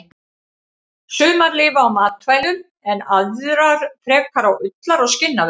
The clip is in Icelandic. Sumar lifa á matvælum en aðrar frekar á ullar- og skinnavöru.